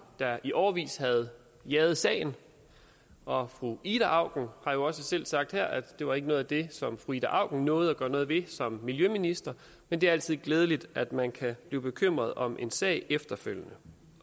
der i årevis havde jaget sagen og fru ida auken har jo også selv sagt her at det ikke var noget af det som fru ida auken nåede at gøre noget ved som miljøminister men det er altid glædeligt at man kan blive bekymret om en sag efterfølgende